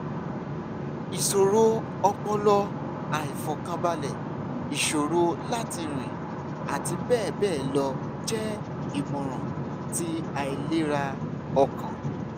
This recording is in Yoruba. iṣoro ọpọlọ aifọkanbalẹ iṣoro lati rin ati bẹbẹ lọ jẹ imọran ti ailera ọkàn